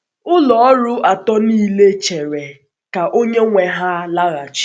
Ụlọ ọrụ atọ niile chere ka onye nwe ha laghachị.